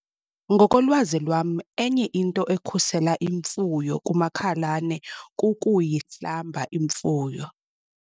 Ngokolwazi lwam enye into ekhusela imfuyo kumakhalane kukuyihlamba imfuyo.